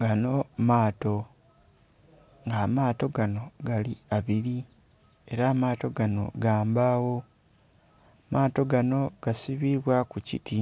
gaanho maato, nga amaato gano, gali abili ela amaato ganho ga mbagho. Maato ganho gasibibwaku kiti.